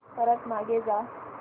परत मागे जा